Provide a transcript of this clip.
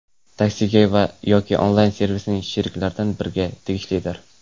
Taksi”ga yoki onlayn-servisning sheriklaridan biriga tegishlidir.